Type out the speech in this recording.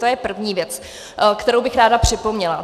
To je první věc, kterou bych ráda připomněla.